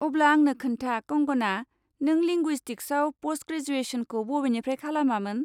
अब्ला आंनो खोन्था, कंगना, नों लिंगुइसटिक्सआव प'स्ट ग्रेजुएसनखौ बबेनिफ्राय खालामामोन?